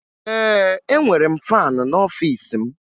Ee, enwere m faanị n'ọfiisi m